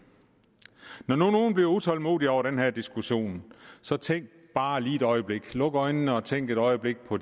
når nu nogle bliver utålmodige over den her diskussion så tænk bare lige et øjeblik luk øjnene og tænk et øjeblik på